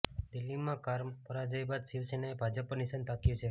દિલ્હીમાં કારમા પરાજય બાદ શિવસેનાએ ભાજપ પર નિશાન તાક્યું છે